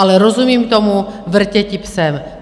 Ale rozumím tomu, vrtěti psem.